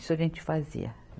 Isso a gente fazia.